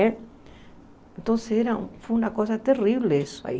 Então, foi uma coisa terrível isso aí.